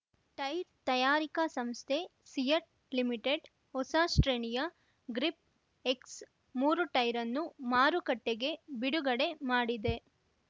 tyre ತಯಾರಿಕ ಸಂಸ್ಥೆ CEAT limited ಹೊಸ ಶ್ರೇಣಿಯ ಗ್ರಿಪ್ ಎಕ್ಸ್ ಮೂರು ಟೈರ್ ಅನ್ನು ಮಾರುಕಟ್ಟೆಗೆ ಬಿಡುಗಡೆ ಮಾಡಿದೆ